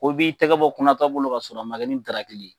Ko b'i tɛgɛ bɔ kunnatɔ bolo ka sɔrɔ a ma kɛ ni ntarakili ye